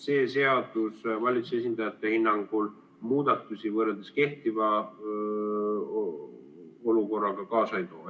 See seadus valitsuse esindajate hinnangul muudatusi võrreldes kehtiva olukorraga kaasa ei too.